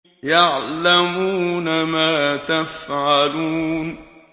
يَعْلَمُونَ مَا تَفْعَلُونَ